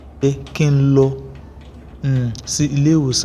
ki n lọ um si ile-iwosan